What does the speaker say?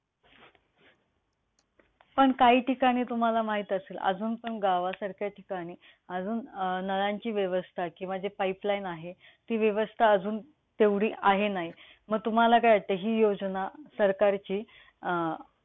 पण काही ठिकाणी तुम्हाला माहित असेल, अजून पण गावासारख्या ठिकाणी अजून नळांची व्यवस्था किंवा जी pipe line आहे, ती व्यवस्था अं तेवढी आहे नाही. मग तुम्हाला काय वाटतंय हि योजना सरकारची अं